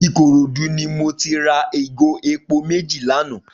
Ikorodu ni mó ti rà igó épó méji lànã